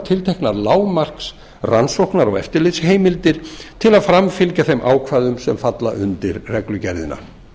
tilteknar lágmarks rannsóknar og eftirlitsheimildir til að framfylgja þeim ákvæðum sem falla undir reglugerðina